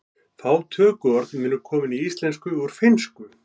Fá tökuorð munu komin í íslensku úr finnsku.